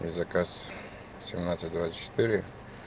заказ семнадцать двадцать четыре